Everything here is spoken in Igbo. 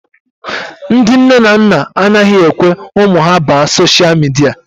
Ndị nne na nna anaghị ekwe ụmụ ha baa sosha midia.